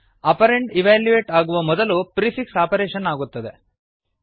operand evaluate ಆಗುವ ಮೊದಲು prefix operation ಆಗುತ್ತದೆ